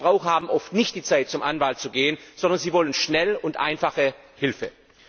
Denn Verbraucher haben oft nicht die Zeit, zu einem Anwalt zu gehen, sondern sie wollen schnelle und einfache Hilfe.